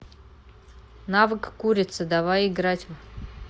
навык курица давай играть в